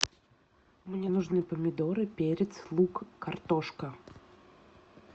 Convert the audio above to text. мне нужны помидоры перец лук картошка